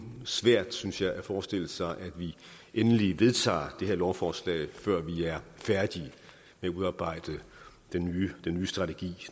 svært synes jeg at forestille sig at vi endelig vedtager det her lovforslag før vi er færdige med at udarbejde den nye strategi